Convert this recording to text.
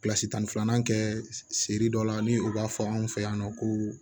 tan ni filanan kɛ seri dɔ la ni o b'a fɔ anw fɛ yan nɔ ko